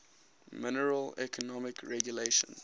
minimal economic regulations